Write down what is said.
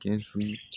Kɛsu